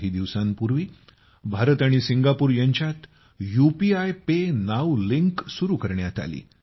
काही दिवसांपूर्वी भारत आणि सिंगापूर यांच्यात यूपीआय पे नाऊ लिंक सुरू करण्यात आलं